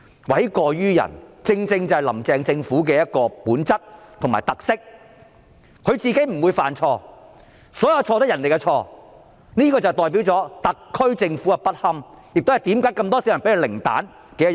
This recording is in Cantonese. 諉過於人正是"林鄭"政府的本質和特色，她自己不會犯錯，所有錯也是別人的錯，這代表了特區政府的不堪，也是這麼多市民給它零分的原因。